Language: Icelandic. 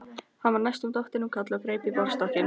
Hann var næstum dottinn um koll og greip í borðstokkinn.